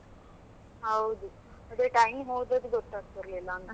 ಹೌದು ಅದೇ time ಹೋದದ್ದುಗೊತ್ತಾಗ್ತಿರಲಿಲ್ಲ ಅಂತ.